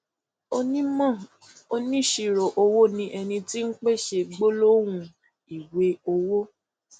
onímò oníṣirò owó ni ẹni tí ń pèsè gbólóhùn ìwé owó